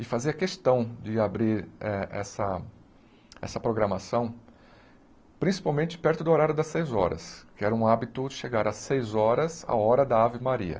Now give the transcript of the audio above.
E fazia questão de abrir eh essa essa programação, principalmente perto do horário das seis horas, que era um hábito chegar às seis horas a hora da Ave Maria.